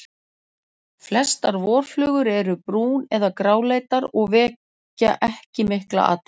Flestar vorflugur eru brún- eða gráleitar og vekja ekki mikla athygli.